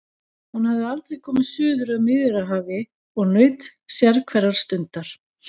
Hún hafði aldrei komið suður að Miðjarðarhafi og naut sérhverrar stundar.